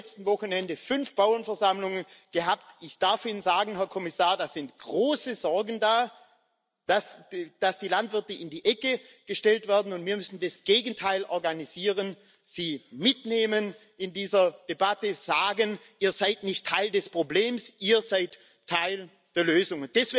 Ich habe am letzten Wochenende fünf Bauernversammlungen gehabt ich darf Ihnen sagen, Herr Kommissar, es sind große Sorgen da, dass die Landwirte in die Ecke gestellt werden, und wir müssen das Gegenteil organisieren, sie mitnehmen in dieser Debatte, sagen Ihr seid nicht Teil des Problems, Ihr seid Teil der Lösung.